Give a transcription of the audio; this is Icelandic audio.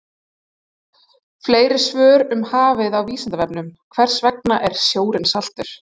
Fleiri svör um hafið á Vísindavefnum: Hvers vegna er sjórinn saltur?